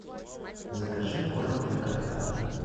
закажи корм для кота